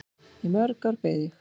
Í mörg ár beið ég.